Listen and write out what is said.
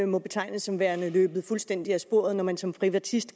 må betegnes som værende løbet fuldstændig af sporet når man som privatist